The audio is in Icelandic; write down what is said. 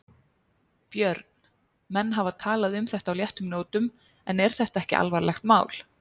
Björn: Menn hafa talað um þetta á léttum nótum en er þetta ekki alvarlegt mál?